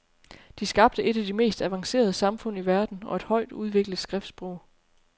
De skabte et af de mest avancerede samfund i verden og et højt udviklet skriftsprog.